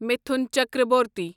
Mithun Chakraborty